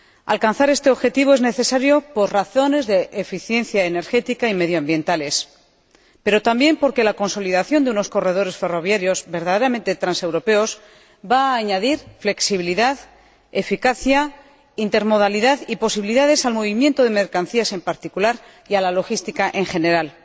Alcanzar este objetivo es necesario por razones de eficiencia energética y medioambientales, pero también porque la consolidación de unos corredores ferroviarios verdaderamente transeuropeos va a añadir flexibilidad, eficacia, intermodalidad y posibilidades al movimiento de mercancías en particular y a la logística en general.